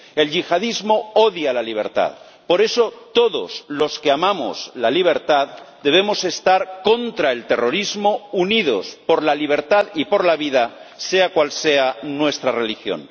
El yihadismo odia la libertad, por eso todos los que amamos la libertad debemos estar contra el terrorismo, unidos por la libertad y por la vida, sea cual sea nuestra religión.